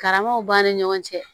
Karamaw b'an ni ɲɔgɔn cɛ